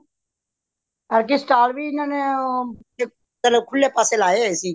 ਐਦਕੀ stall ਵੀ ਈਹਨਾ ਨੇ ਅ ਪਹਿਲੇ ਖੁੱਲੇ ਪਾਸੇ ਲਾਏ ਹੋਏ ਸੀ